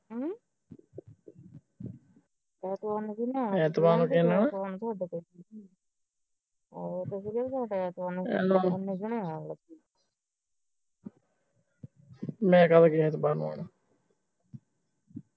ਮੈਂ ਕਿਹੜਾ ਕਹਿੰਦੇ ਤਾਂ ਸਹੀ ਕਹਿੰਦੇ ਨੂੰ ਆਣਾ